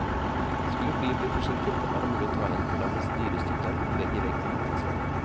Skulle flyet bli forsinket, er det mulig å ta inn på landets dyreste hotell, vegg i vegg med avgangshallen.